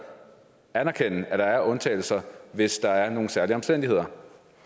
anerkende at der er undtagelser hvis der er nogle særlige omstændigheder